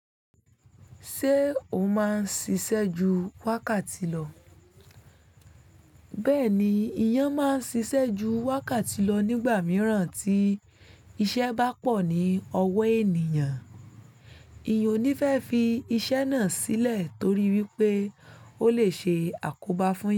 Ṣé o máa ń ṣiṣẹ́ ju wákàtí lọ? Bẹ́ẹ̀ ni, eyán máa ń ṣíṣe ju wákàtí lọ nígbà mìíràn tí iṣẹ́ bá pọ̀ ní ọwọ́ ènìyàn. Èèyàn ò ní fẹ́ fi iṣẹ́ náà sílẹ̀ torí wípé ó lè ṣe àkóbá fún yán.